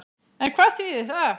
En hvað þýðir það?